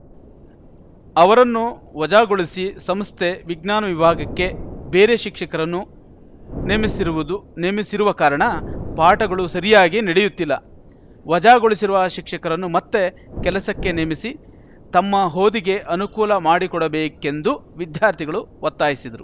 ಅವರನ್ನು ವಜಾಗೊಳಿಸಿ ಸಂಸ್ಥೆ ವಿಜ್ಞಾನ ವಿಭಾಗಕ್ಕೆ ಬೇರೆ ಶಿಕ್ಷಕರನ್ನು ನೇಮಿಸಿರುವುದು ನೇಮಿಸಿರುವ ಕಾರಣ ಪಾಠಗಳು ಸರಿಯಾಗಿ ನಡೆಯುತ್ತಿಲ್ಲ ವಜಾಗೊಳಿಸಿರುವ ಶಿಕ್ಷಕರನ್ನು ಮತ್ತೆ ಕೆಲಸಕ್ಕೆ ನೇಮಿಸಿ ತಮ್ಮ ಹೋದಿಗೆ ಅನುಕೂಲ ಮಾಡಿಕೊಡಬೇಕೆಂದು ವಿದ್ಯಾರ್ಥಿಗಳು ಒತ್ತಾಯಿಸಿದರು